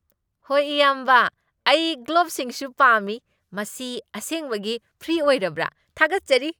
ꯍꯣꯏ ꯏꯌꯥꯝꯕ, ꯑꯩ ꯒ꯭ꯂꯣꯚꯁꯤꯡꯁꯨ ꯄꯥꯝꯃꯤ꯫ ꯃꯁꯤ ꯑꯁꯦꯡꯕꯒꯤ ꯐ꯭ꯔꯤ ꯑꯣꯏꯔꯕ꯭ꯔꯥ? ꯊꯥꯒꯠꯆꯔꯤ!